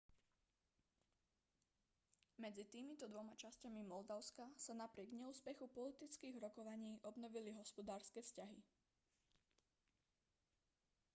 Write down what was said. medzi týmito dvoma časťami moldavska sa napriek neúspechu politických rokovaní obnovili hospodárske vzťahy